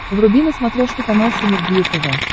вруби на смотрешке канал синергия тв